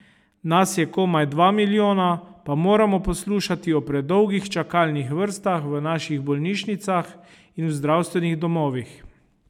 Nas je komaj dva milijona, pa moramo poslušati o predolgih čakalnih vrstah v naših bolnišnicah in zdravstvenih domovih.